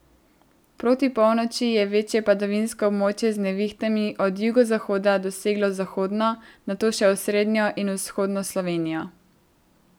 Proti polnoči je večje padavinsko območje z nevihtami od jugozahoda doseglo zahodno, nato še osrednjo in vzhodno Slovenijo.